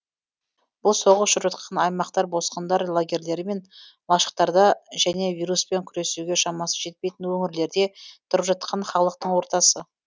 бұл соғыс жүріп жатқан аймақтар босқындар лагерлері мен лашықтарда және вируспен күресуге шамасы жетпейтін өңірлерде тұрып жатқан халықтың ортасы